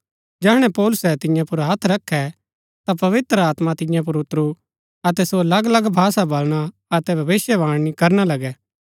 जैहणै पौलुसै तियां पुर हत्थ रखै ता पवित्र आत्मा तियां पुर ऊतरू अतै सो अलग अलग भाषा बलणा अतै भविष्‍यवाणी करना लगै